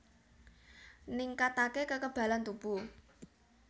Ningkatake kekebalan tubuh